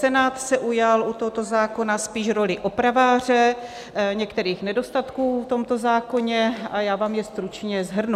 Senát se ujal u tohoto zákona spíš role opraváře některých nedostatků v tomto zákoně a já vám je stručně shrnu.